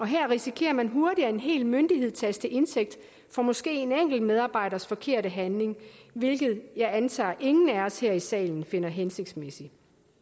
her risikerer man hurtigt at en hel myndighed tages til indtægt for måske en enkelt medarbejders forkerte handling hvilket jeg antager ingen af os her i salen finder hensigtsmæssigt